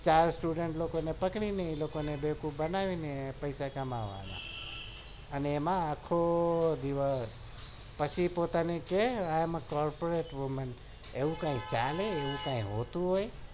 બેવકૂફ બનાવી ને પેસા તમારે આપવાના અને એમાં આખો દિવસ એવું કઈ હોતું હોય